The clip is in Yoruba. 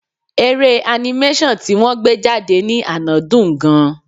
Eré animation ti wọ́n gbé jáde ní àná dùn-ún gan-an.